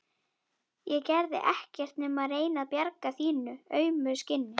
Ég gerði ekkert nema reyna að bjarga þínu auma skinni.